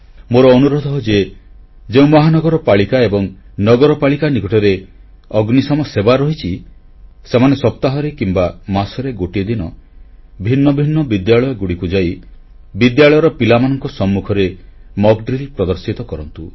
ମୋର ଅନୁରୋଧ ଯେ ଯେଉଁ ମହାନଗର ପାଳିକା ଏବଂ ନଗରପାଳିକା ନିକଟରେ ଅଗ୍ନିଶମ ସେବା ରହିଛି ସେମାନେ ସପ୍ତାହରେ କିମ୍ବା ମାସରେ ଗୋଟିଏ ଦିନ ଭିନ୍ନ ଭିନ୍ନ ବିଦ୍ୟାଳୟଗୁଡ଼ିକୁ ଯାଇ ବିଦ୍ୟାଳୟର ପିଲାମାନଙ୍କ ସମ୍ମୁଖରେ ଅଭ୍ୟାସ କାର୍ଯ୍ୟ ମକ୍ ଡ୍ରିଲ୍ ପ୍ରଦର୍ଶିତ କରନ୍ତୁ